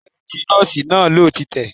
Abẹ́rẹ́ tí Nọ́ọ̀sì náà lò ti tẹ̀